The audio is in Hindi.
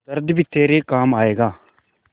दर्द भी तेरे काम आएगा